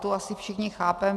Tu asi všichni chápeme.